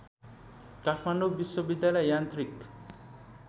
काठमाडौँ विश्वविद्यालय यान्त्रिक